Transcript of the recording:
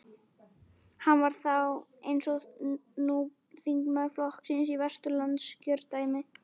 Hann var þá, eins og nú, þingmaður flokksins í Vesturlandskjördæmi.